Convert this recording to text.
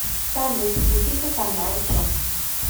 салют включите канал че